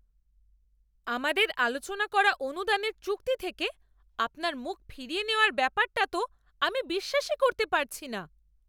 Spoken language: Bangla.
আমাদের আলোচনা করা অনুদানের চুক্তি থেকে আপনার মুখ ফিরিয়ে নেওয়ার ব্যাপারটা তো আমি বিশ্বাসই করতে পারছি না।